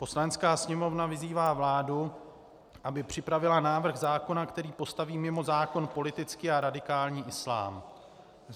Poslanecká sněmovna vyzývá vládu, aby připravila návrh zákona, který postaví mimo zákon politický a radikální islám.